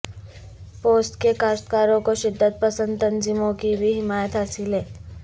پوست کے کاشتکاروں کو شدت پسند تنظیموں کی بھی حمایت حاصل ہے